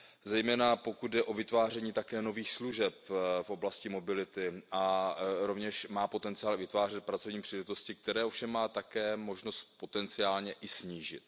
zejména pokud jde o vytváření také nových služeb v oblasti mobility, a rovněž má potenciál vytvářet pracovní příležitosti, které ovšem má také možnost potenciálně i snížit.